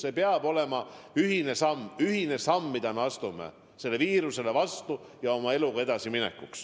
Need peavad olema ühised sammud, mida me astume, et sellele viirusele vastu seista ja oma eluga edasi minna.